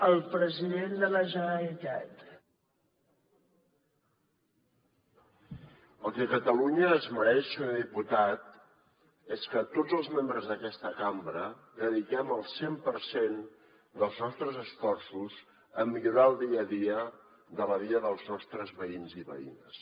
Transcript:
el que catalunya es mereix senyor diputat és que tots els membres d’aquesta cambra dediquem el cent per cent dels nostres esforços a millorar el dia a dia de la vida dels nostres veïns i veïnes